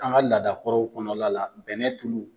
An ka laadakɔrɔw kɔnɔ la la bɛnɛ tulu.